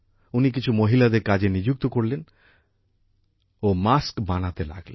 উনি কিছু মহিলাদের কাজে নিযুক্ত করলেন ও মাস্ক বানাতে লাগলেন